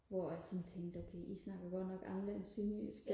hvor jeg sådan tænkte okay I snakker godt nok anderledes sønderjysk